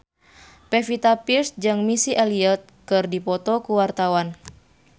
Pevita Pearce jeung Missy Elliott keur dipoto ku wartawan